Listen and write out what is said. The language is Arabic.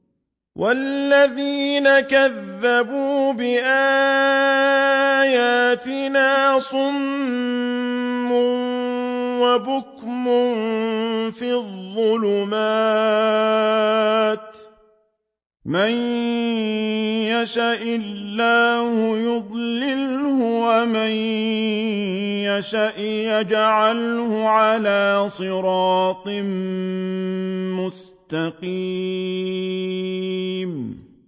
وَالَّذِينَ كَذَّبُوا بِآيَاتِنَا صُمٌّ وَبُكْمٌ فِي الظُّلُمَاتِ ۗ مَن يَشَإِ اللَّهُ يُضْلِلْهُ وَمَن يَشَأْ يَجْعَلْهُ عَلَىٰ صِرَاطٍ مُّسْتَقِيمٍ